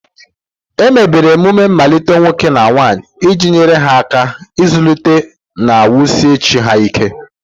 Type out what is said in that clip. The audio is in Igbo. Emebere emume mmalite nwoke na nwanyị iji nyere ha aka ịzụlite na wusie chi ha ike.